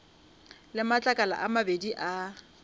le matlakala a mabedi a